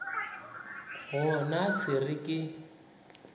go na se re ka